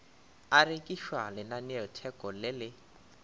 a rekišwa lenaneotheko le le